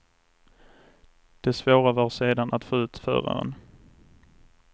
Det svåra var sedan att få ut föraren.